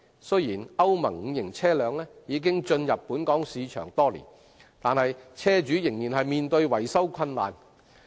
雖然歐盟 V 期車輛已進入本港市場多年，但車主仍面對維修困難的問題。